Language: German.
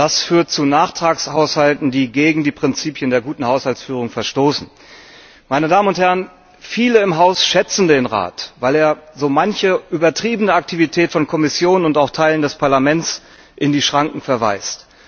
Das führt zu Nachtragshaushalten, die gegen die Prinzipien der guten Haushaltsführung verstoßen. Viele im Haus schätzen den Rat, weil er so manche übertriebene Aktivität von Kommission und auch Teilen des Parlaments in die Schranken weist.